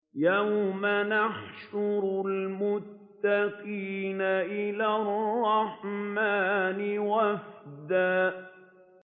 يَوْمَ نَحْشُرُ الْمُتَّقِينَ إِلَى الرَّحْمَٰنِ وَفْدًا